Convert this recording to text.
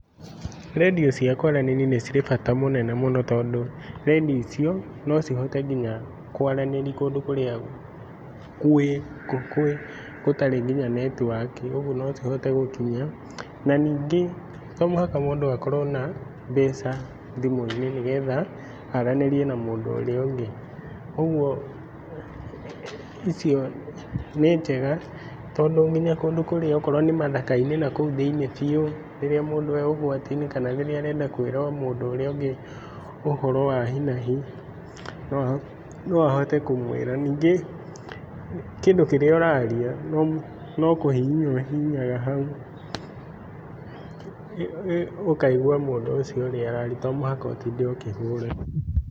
Redio cia kũaranĩria nĩcirĩ bata mũnene mũno tondũ Redio icio nocihote nginya kũaranĩria kũndũ kũria kũĩ, gũtarĩ nginya network ugũo nocihote gũkinya na ningĩ to mũhaka mũndũ akorũo na mbeca thimũinĩ nĩgetha aranĩrie na mũndũ ũrĩa ũngĩ. Ũgũo icio nĩ njega tondũ nginya kũndũ kũrĩa okorũo ni mathakainĩ nakũu thĩiniĩ biũ, rĩrĩa mũndũ e ũgwati-inĩ kana rĩrĩa arenda kwĩra o mũndũ ũrĩa ũngĩ ũhoro wa hinahi noahote kũmwĩra. Ningĩ kindũ kĩrĩa ũraria nokũhihinya ũhihinyaga hau ũkaigua mũndũ ũcio araria to mũhaka ũtinde ũkĩhũrĩrũo.